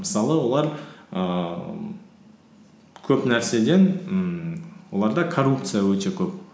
мысалы олар ііі көп нәрседен ммм оларда коррупция өте көп